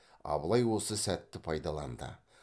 абылай осы сәтті пайдаланды